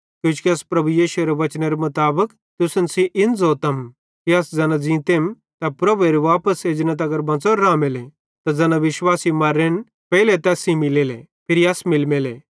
किजोकि अस प्रभु यीशुएरे वचनेरे मुताबिक तुसन सेइं इन ज़ोतम कि अस ज़ैना ज़ींतेम ते प्रभुएरे वापस एजने तगर बंच़ोरे रामेले त ज़ैना विश्वासी मर्रोरेन पेइले तैस सेइं मिलमेले फिरी अस मिलमेले